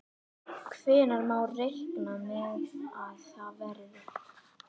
Hvenær má reikna með að það verði?